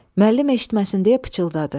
Müəllim eşitməsin deyə pıçıldadı.